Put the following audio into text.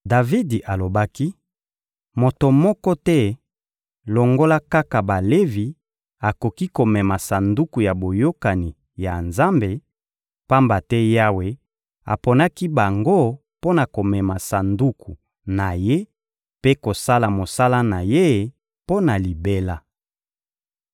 Davidi alobaki: «Moto moko te, longola kaka Balevi, akoki komema Sanduku ya Boyokani ya Nzambe, pamba te Yawe aponaki bango mpo na komema Sanduku na Ye mpe kosala mosala na Ye mpo na libela.»